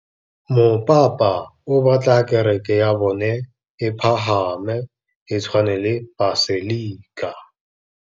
Mopapa o batla kereke ya bone e pagame, e tshwane le paselika.